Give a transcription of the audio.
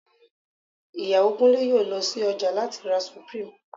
Ìyàwó Kúnlé yóò lọ sí ọjà láti ra Supreme